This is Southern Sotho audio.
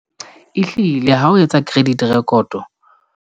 Ehlile ha o etsa credit rekoto.